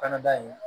Kɔnɔda in